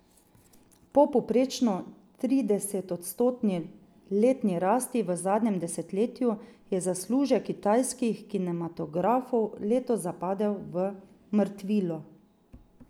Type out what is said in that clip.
Po povprečno tridesetodstotni letni rasti v zadnjem desetletju je zaslužek kitajskih kinematografov letos zapadel v mrtvilo.